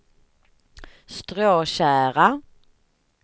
Stråtjära